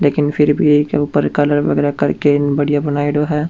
लेकिन फिर भी एके ऊपर कलर वगेरा करके बढ़िया बनाईडो है।